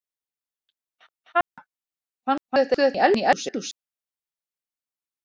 Ha! Fannstu þetta inni í eldhúsi?